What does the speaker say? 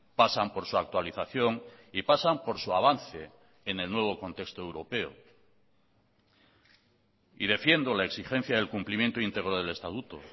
pasan por su actualización y pasan por su avance en el nuevo contexto europeo y defiendo la exigencia del cumplimiento íntegro del estatuto